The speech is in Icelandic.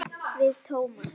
Við Tómas.